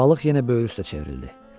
Balıq yenə böyrü üstə çevrildi.